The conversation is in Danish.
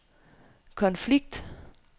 konflikt